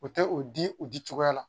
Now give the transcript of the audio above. O tɛ o di u di cogoya la